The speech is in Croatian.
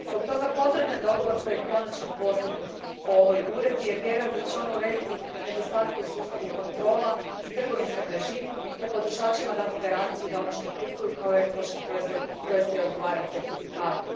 Zbog toga pozdravljam dogovor koji je konačno postignut o ovoj Uredbi jer vjerujem da će ona urediti nedostatke u sustavu kontrola i trgovinskom režimu te potrošačima dati garanciju da ono što kupuju kao ekološki proizvod doista i odgovara certifikatu.